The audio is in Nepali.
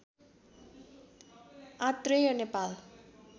आत्रेय नेपाल